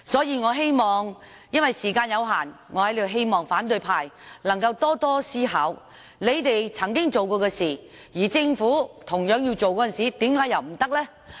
由於時間有限，我在此希望反對派能夠多多思考，他們曾經做的事，而政府同樣要做的時候，為何又不可以？